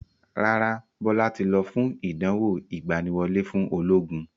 Rárá, Bọlá tí lọ fún ìdánwò ìgbàníwọlé fún ológun